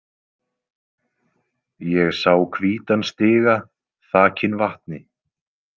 Ég sá hvítan stiga þakinn vatni.